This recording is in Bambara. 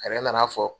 A yɛrɛ nana fɔ